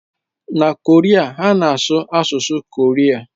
Na Korea, ha na-asụ asụsụ Korea.